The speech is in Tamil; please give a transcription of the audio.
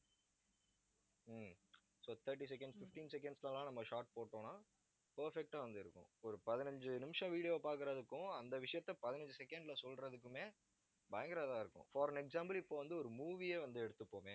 so thirty seconds fifteen seconds ல எல்லாம் நம்ம short போட்டோம்ன்னா perfect ஆ வந்து இருக்கும். ஒரு பதினஞ்சு நிமிஷம் video பார்க்கிறதுக்கும் அந்த விஷயத்த பதினஞ்சு second ல சொல்றதுக்குமே பயங்கர இதா இருக்கும். for an example இப்ப வந்து, ஒரு movie யே வந்து எடுத்துப்போமே